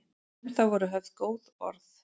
Um það voru höfð góð orð.